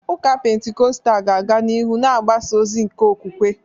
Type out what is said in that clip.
Ụka Pentikọstal ga-aga n’ihu na-agbasa ozi nke okwukwe.